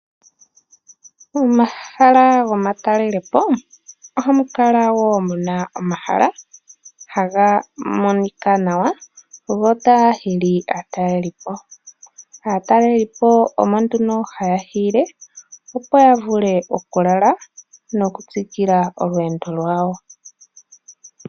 Momahala gomatalelepo ohamu kala woo muna omahala haga monika nawa go otaga hili aatalelipo. Aatalelipo omo nduno haya hiile opo yavule oku lala nokutsikila olweendo lwawo.